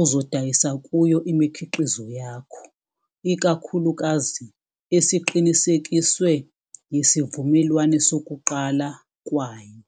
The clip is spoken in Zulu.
uzodayisa kuyo imikhiqizo yakho, ikakhulukazi esiqinisekiswe yesivumelwano sokuqala kwayo.